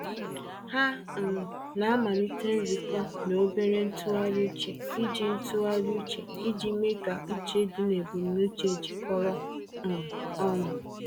Ha um na-amalite nzukọ na obere ntụgharị uche iji ntụgharị uche iji mee ka uche dị na ebumnuche jikọrọ um ọnụ.